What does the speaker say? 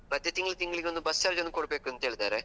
ಮತ್ತೆ ತಿಂಗ್ಳು ತಿಂಗ್ಳಿಗೊಂದು bus charge ಒಂದು ಕೊಡ್ಬೇಕು, ಅಂತ ಹೇಳಿದ್ದಾರೆ.